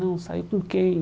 Não, saiu com quem?